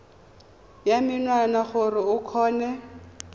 ya menwana gore o kgone